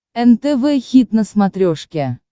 нтв хит на смотрешке